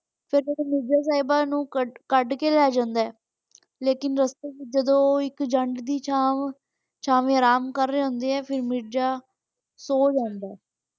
ਫਿਰ ਜਦੋਂ ਮਿਰਜ਼ਾ ਸਾਹਿਬਾ ਨੂੰ ਕੱਡ ਕੇ ਲੈ ਜਾਂਦਾ ਲੇਕਿਨ ਛਾਂਵ ਛਾਵੇਂ ਆਰਾਮ ਕਰ ਰਹੇ ਹੁੰਦੇ ਆ ਤੇ ਮਿਰਜ਼ਾ ਸੋ ਜਾਂਦਾ।